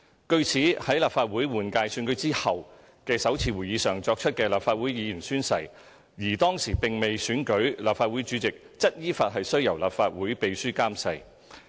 據此，在立法會換屆選舉後的首次會議上作出的立法會議員宣誓，而當時並未選舉立法會主席，則依法須由立法會秘書監誓。